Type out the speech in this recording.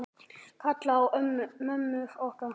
Kalla á mömmur okkar?